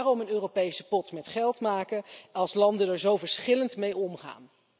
Waarom een Europese pot met geld maken als landen er zo verschillend mee omgaan?